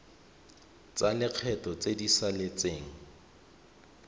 tsa lekgetho tse di saletseng